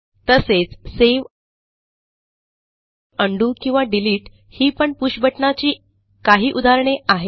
तसेच save undo किंवा delete ही पण Pushबटणाची काही उदाहरणे आहेत